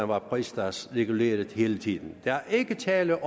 var pristalsreguleret hele tiden der er ikke tale